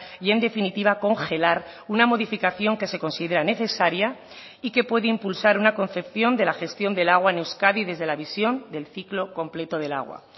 y en definitiva congelar una modificación que se considera necesaria y que puede impulsar una concepción de la gestión del agua en euskadi desde la visión del ciclo completo del agua